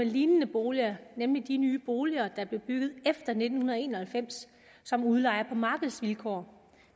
lignende boliger nemlig de nye boliger der blev bygget efter nitten en og halvfems som udlejes på markedsvilkår